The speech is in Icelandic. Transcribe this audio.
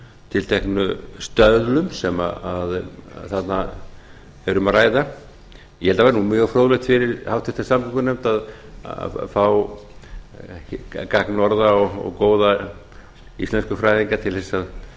tilteknu stöðlum sem þarna er um að ræða ég held að það væri mjög fróðlegt fyrir háttvirta samgn að fá gagnorða og góða íslenskufræðinga til að